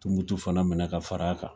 Tumutu fana minɛ ka far'a kan